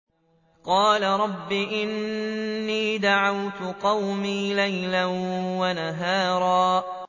قَالَ رَبِّ إِنِّي دَعَوْتُ قَوْمِي لَيْلًا وَنَهَارًا